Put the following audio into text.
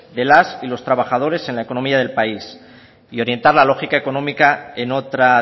de las y los trabajadores en la economía del país y orientar la lógica económica en otra